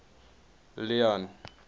leone